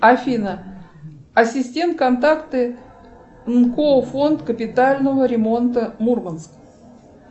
афина ассистент контакты нко фонд капитального ремонта мурманск